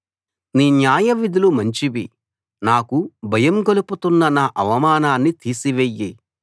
నీ న్యాయవిధులు మంచివి నాకు భయం గొలుపుతున్న నా అవమానాన్ని తీసివెయ్యి